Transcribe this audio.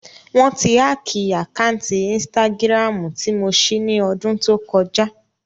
Wọ́n ti hákìì àkáǹtì ínstágíráàmù tí mo ṣí ní ọdún tó kọjá